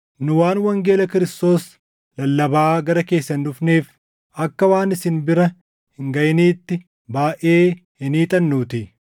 Nu waan wangeela Kiristoos lallabaa gara keessan dhufneef, akka waan isin bira hin gaʼiniitti baayʼee hin hiixannuutii.